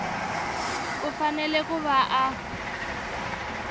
u fanele ku va a